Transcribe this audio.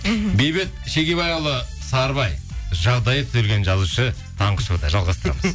мхм бейбіт шегебайұлы сарыбай жағдайы түзелген жазушы таңғы шоуда жалғастырамыз